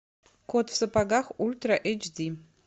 кот в сапогах ультра эйч ди